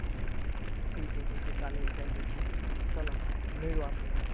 ठीके! ठीके! चालेल. Thank you thank you. चला, मिळू आपण.